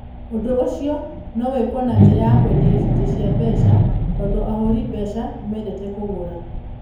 Ũndũ ũcio no wĩkwo na njĩra ya kwendia icunjĩ cia mbeca, tondũ ahũri mbeca nĩ mendete kũgũra.